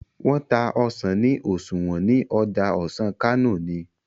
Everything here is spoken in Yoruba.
wón n tá ọsán ni oṣuwọn ní Ọjà ọsán Kano ní